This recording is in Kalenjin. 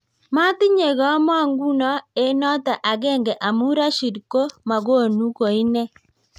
matinye kamonguno eng noto akenge amu Rashid ko makonu ko inne